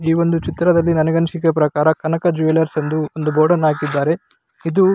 ಈ ವೊಂದು ಚಿತ್ರದಲ್ಲಿ ನನಗನಿಸಿದ ಪ್ರಕಾರ ಕನಕ ಜೆವೆಲ್ರ್ಸ್ ಎಂದು ಬೋರ್ಡ್ ಅನ್ನು ಹಾಕಿದ್ದಾರೆ ಇದು --